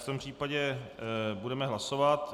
V tom případě budeme hlasovat.